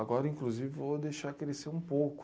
Agora, inclusive, vou deixar crescer um pouco.